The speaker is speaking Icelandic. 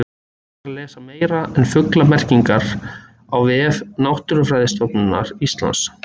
hægt er að lesa meira um fuglamerkingar á vef náttúrufræðistofnunar íslands